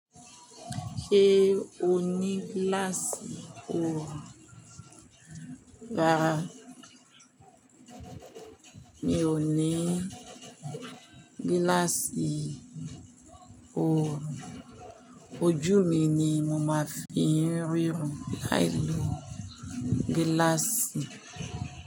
Sẹ́ o ní gíláàsì oorùn. Rárá mi ò ní gíláàsì oorùn. Ojú mi ni mo máa fi ń ríran. Láì lo gíláàsì.